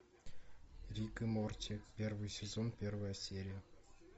рик и морти первый сезон первая серия